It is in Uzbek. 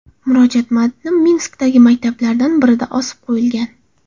Murojaat matni Minskdagi maktablardan birida osib qo‘yilgan.